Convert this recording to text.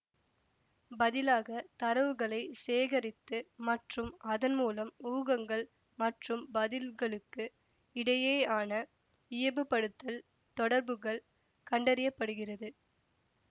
பதிலாக தரவுகளை சேகரித்து மற்றும் அதன் மூலம் ஊகங்கள் மற்றும் பதில்களுக்கு இடையேயான இயைபுப்படுத்தல் தொடர்புகள் கண்டறியப்படுகிறது